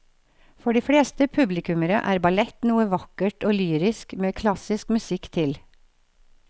For de fleste publikummere er ballett noe vakkert og lyrisk med klassisk musikk til.